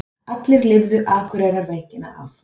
Allir lifðu Akureyrarveikina af.